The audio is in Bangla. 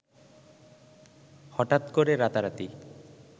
হঠাৎ করে রাতারাতি